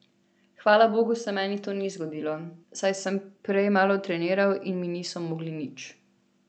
Hvala bogu se meni to ni zgodilo, saj sem prej malo treniral in mi niso mogli nič.